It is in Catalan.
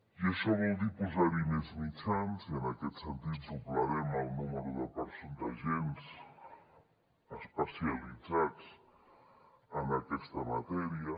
i això vol dir posar hi més mitjans i en aquest sentit doblarem el nombre d’agents especialitzats en aquesta matèria